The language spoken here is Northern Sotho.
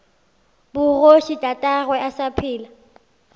bogoši tatagwe a sa phela